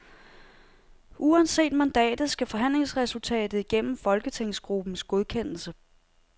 Uanset mandatet skal forhandlingsresultatet igennem folketingsruppens godkendelse.